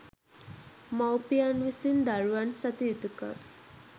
මවුපියන් විසින් දරුවන් සතු යුතුකම්